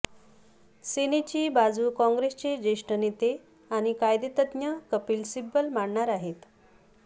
सेनेची बाजू काँग्रेसचे ज्येष्ठ नेते आणि कायदेतज्ज्ञ कपिल सिब्बल मांडणार आहेत